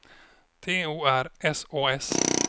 T O R S Å S